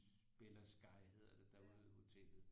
Bella Sky hedder det der ude hotellet